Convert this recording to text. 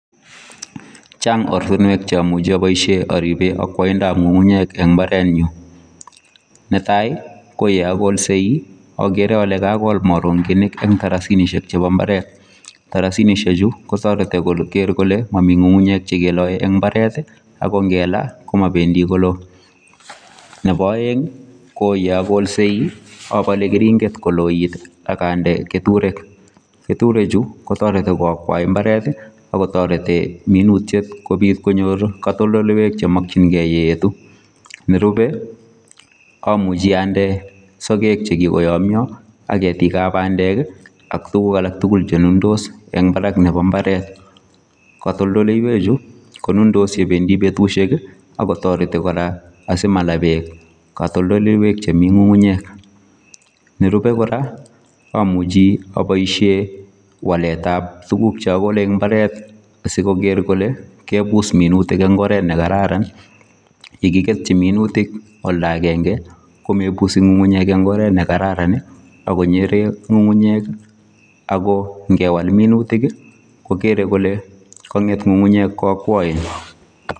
chaang' ortinwek chomuche oboisheen oriben okwoindo ab ng'ung'unyeek en imbarenyuun, netai ko yeagolsei ogere olee kagool moronginik en tarasinishek cho imbareet, tarasinishek chuu kotoreti kogeer kole momii ng'ung'unyek chegeloee en imbareeet ago ngelaa komobendii koloo , nebo oeng koo yeagolsei obole keringet koloit iih ak onde keturek , keturek chu kotoreti koakwai imbareet iih ago toreti minutyeet kobii konyoor katoldolyweek chemonkyingee yeetu, nerube omuche onde sogek che kigoyomyoo ak ketik ab bandeek ak tuguk alak tugul chenundos en barak nebo imbareet , katoldo